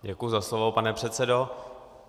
Děkuji za slovo, pane předsedo.